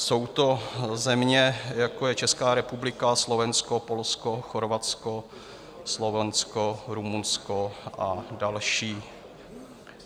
Jsou to země, jako je Česká republika, Slovensko, Polsko, Chorvatsko, Slovinsko, Rumunsko a další.